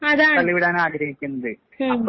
അതാണ് ഉം